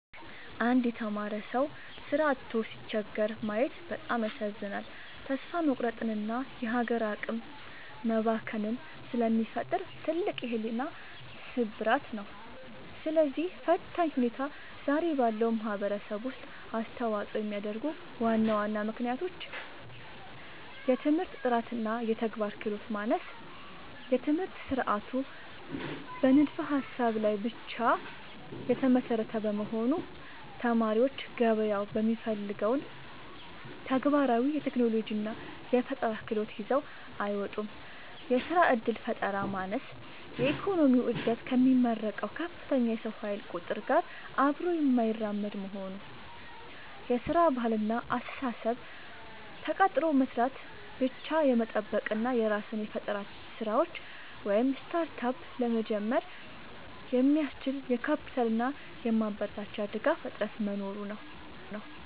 አንድ የተማረ ሰው ሥራ አጥቶ ሲቸገር ማየት በጣም ያሳዝናል፤ ተስፋ መቁረጥንና የሀገር አቅም መባከንን ስለሚፈጥር ትልቅ የሕሊና ስብራት ነው። ለዚህ ፈታኝ ሁኔታ ዛሬ ባለው ማኅበረሰብ ውስጥ አስተዋፅኦ የሚያደርጉ ዋና ዋና ምክንያቶች፦ የትምህርት ጥራትና የተግባር ክህሎት ማነስ፦ የትምህርት ሥርዓቱ በንድፈ-ሀሳብ ላይ ብቻ የተመሰረተ በመሆኑ፣ ተማሪዎች ገበያው የሚፈልገውን ተግባራዊ የቴክኖሎጂና የፈጠራ ክህሎት ይዘው አይወጡም። የሥራ ዕድል ፈጠራ ማነስ፦ የኢኮኖሚው ዕድገት ከሚመረቀው ከፍተኛ የሰው ኃይል ቁጥር ጋር አብሮ የማይራመድ መሆኑ። የሥራ ባህልና አስተሳሰብ፦ ተቀጥሮ መሥራትን ብቻ የመጠበቅ እና የራስን የፈጠራ ሥራዎች (Startup) ለመጀመር የሚያስችል የካፒታልና የማበረታቻ ድጋፍ እጥረት መኖሩ ነው።